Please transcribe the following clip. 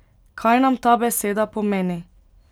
Kaj nam ta beseda pomeni?